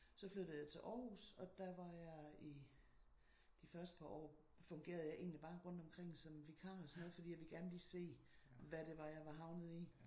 Så flyttede jeg til Aarhus og der var jeg i de første par år fungerede jeg egentlig bare rundt omkring som vikar og sådan noget for jeg ville gerne lige se hvad det var jeg var havnet i